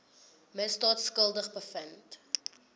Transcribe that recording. misdaad skuldig bevind